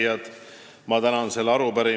Head arupärijad!